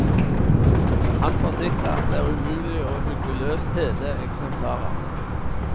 Han forsikrer at det er umulig å hugge løs hele eksemplarer.